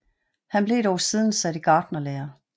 Han blev dog siden sat i gartnerlære